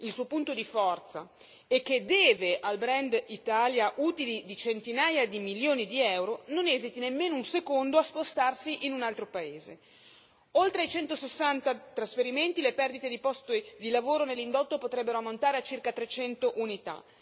il suo punto di forza e che deve al brand Italia utili di centinaia di milioni di euro non esiti nemmeno un secondo a spostarsi in un altro paese. Oltre ai 160 trasferimenti le perdite di posti di lavoro nell'indotto potrebbero ammontare a circa 300 unità.